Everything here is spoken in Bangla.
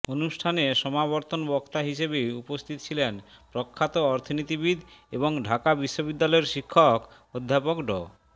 অনুষ্ঠানে সমাবর্তন বক্তা হিসেবে উপস্থিত ছিলেন প্রখ্যাত অর্থনীতিবিদ এবং ঢাকা বিশ্ববিদ্যালয়ের শিক্ষক অধ্যাপক ড